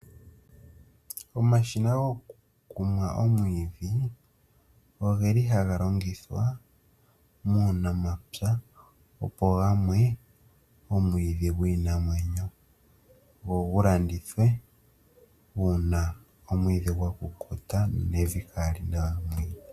Omashina gokumwa omwiidhi oge li haga longithwa muunamapya opo gamwe omwiidhi gwiinamwenyo nenge goku landithwe uuna omwiidhi gwa kukuta.